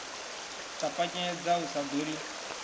ṱapanyedza u sa ḓo ḽi